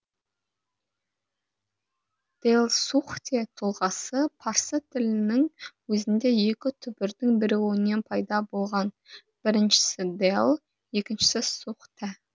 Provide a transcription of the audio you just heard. дэлсухтэ тұлғасы парсы тілінің өзінде екі түбірдің бірігуінен пайда болған біріншісі дэл екіншісі сухтэ